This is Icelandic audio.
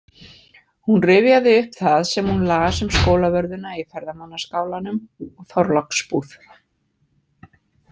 Hún rifjaði upp það sem hún las um Skólavörðuna í ferðamannaskálanum og Þorláksbúð.